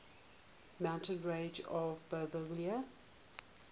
mountain ranges of bolivia